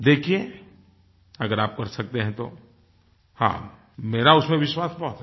देखिये अगर आप कर सकते हैं तो हाँ मेरा उसमें विश्वास बहुत है